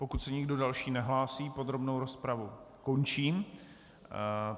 Pokud se nikdo další nehlásí, podrobnou rozpravu končím.